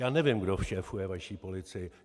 Já nevím, kdo šéfuje vaší policii.